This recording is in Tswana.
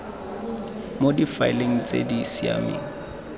mo difaeleng tse di siameng